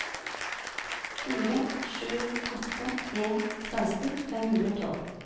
fire sju åtte en seksten fem hundre og tolv